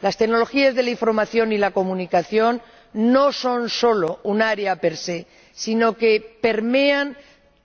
Las tecnologías de la información y la comunicación no son solo un área per se sino que permean